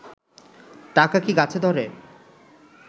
টাকা কি গাছে ধরে